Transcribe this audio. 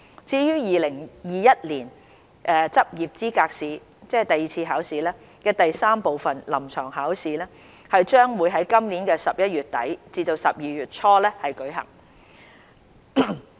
至於2021年執業資格試第三部分：臨床考試，將於今年11月底至12月初舉行。